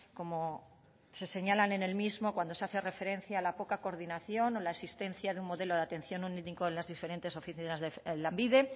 como se señalan en el mismo cuando se hace referencia a la poco coordinación a la existencia de un modelo de atención único en las diferentes oficinas de lanbide